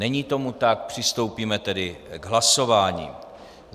Není tomu tak, přistoupíme tedy k hlasování.